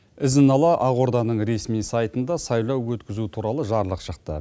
ізін ала ақорданың ресми сайтында сайлау өткізу туралы жарлық шықты